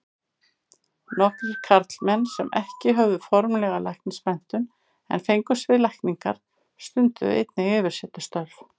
Nokkrir karlmenn sem ekki höfðu formlega læknismenntun en fengust við lækningar, stunduðu einnig yfirsetustörf.